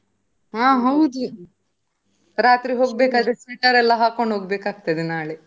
ಹಾ ಹೌದ್, ರಾತ್ರಿ ಹೋಗ್ಬೇಕಾದ್ರೆ sweater ಎಲ್ಲಾ ಹಾಕೊಂಡು ಹೋಗಬೇಕು ನಾಳೆ.